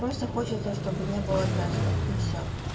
просто хочется чтобы не было тестов и всё